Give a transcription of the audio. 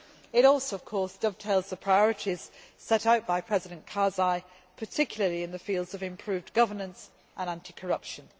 It also, of course, dovetails the priorities set out by President Karzai, particularly in the fields of improved governance and anti corruption.